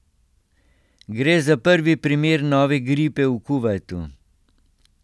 Gre za prvi primer nove gripe v Kuvajtu.